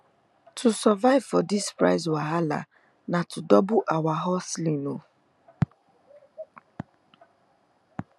to survive for this price wahala na to double ur hustling o